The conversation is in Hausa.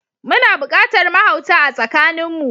Muna buƙatar mahauta a tsakanin mu.